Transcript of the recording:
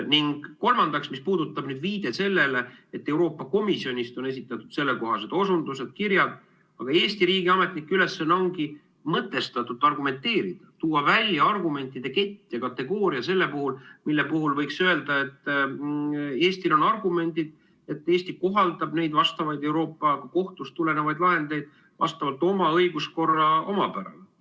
Ning kolmandaks, mis puudutab nüüd viidet sellele, et Euroopa Komisjonist on esitatud sellekohased osundused, kirjad, siis Eesti riigi ametnike ülesanne ongi mõtestatult argumenteerida, tuua välja argumentide kett ja kategooria selle puhul, mille puhul võiks öelda, et Eestil on argumendid, Eesti kohaldab neid vastavaid Euroopa Kohtust tulenevaid lahendeid vastavalt oma õiguskorra omapärale.